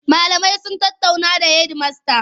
Malamai sun tattaunawa da hedimasta.